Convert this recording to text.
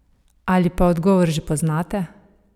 Ali pa odgovor že poznate?